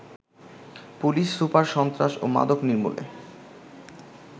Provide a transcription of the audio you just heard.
police super সন্ত্রাস ও মাদক নির্মূলে